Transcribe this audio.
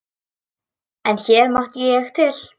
En hér mátti ég til.